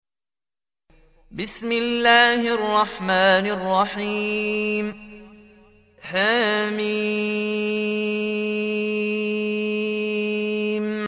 حم